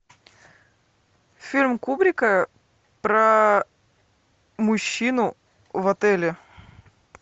фильм кубрика про мужчину в отеле